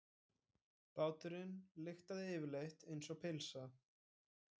Báturinn lyktaði yfirleitt einsog pylsa.